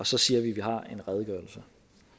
så siger at vi har en redegørelse